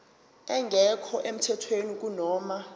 engekho emthethweni kunoma